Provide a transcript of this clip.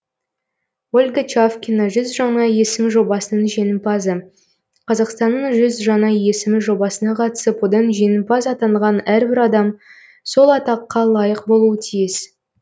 ольга чавкина жүз жаңа есім жобасының жеңімпазы қазақстанның жүз жаңа есімі жобасына қатысып одан жеңімпаз атанған әрбір адам сол атаққа лайық болуы тиіс